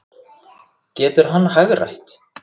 Getur hann hagrætt?